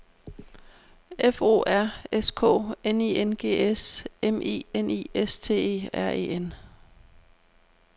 F O R S K N I N G S M I N I S T E R E N